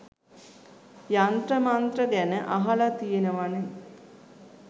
යන්ත්‍ර මන්ත්‍ර ගැන අහල තියෙනවනෙ